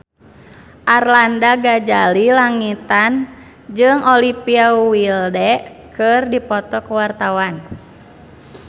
Arlanda Ghazali Langitan jeung Olivia Wilde keur dipoto ku wartawan